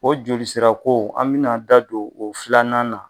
O jolisirako an mɛna da don o filanan na.